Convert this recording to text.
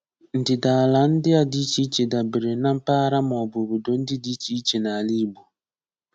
Ndịdaala ndị a dị iche iche dabere na mpaghara maọbụ obodo ndị dị iche iche n'ala Igbo.